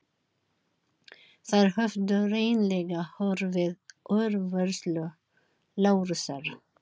Þær höfðu hreinlega horfið úr vörslu Lárusar.